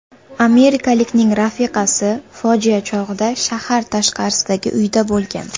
Amerikalikning rafiqasi fojia chog‘ida shahar tashqarisidagi uyida bo‘lgan.